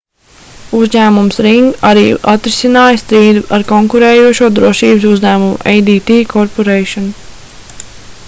uzņēmums ring arī atrisināja strīdu ar konkurējošo drošības uzņēmumu adt corporation